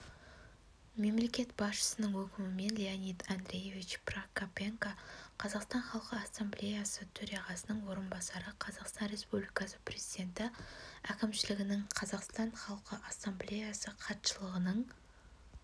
мемлекет басшысының өкімімен леонид андреевич прокопенко қазақстан халқы ассамблеясы төрағасының орынбасары қазақстан республикасы президенті әкімшілігінің қазақстан халқы ассамблеясы хатшылығының